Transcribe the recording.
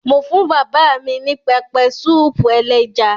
Mo fún bàbá mi ní pẹpẹsúúpù ẹléja.